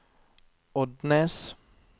Odnes